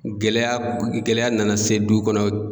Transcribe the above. Gɛlɛya gɛlɛya nana se du kɔnɔ